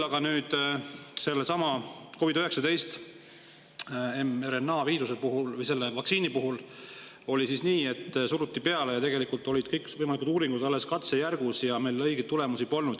Aga sellesama COVID-19 mRNA-vaktsiini puhul oli nii, et seda suruti peale, kuigi tegelikult olid kõikvõimalikud uuringud alles katsejärgus ja meil õigeid tulemusi polnud.